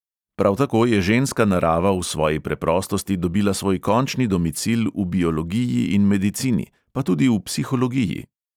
Prav tako je ženska narava v svoji preprostosti dobila svoj končni domicil v biologiji in medicini, pa tudi v psihologiji.